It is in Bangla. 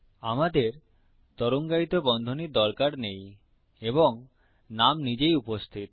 আমাদের তরঙ্গায়িত বন্ধনীর দরকার নেই এবং নাম নিজেই উপস্থিত